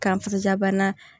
Kan filabana